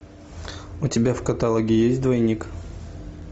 у тебя в каталоге есть двойник